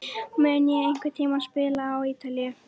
Mun ég einhvern tíma spila á Ítalíu?